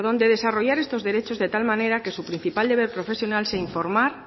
de desarrollar estos derechos de tal manera que su principal deber profesional sea informar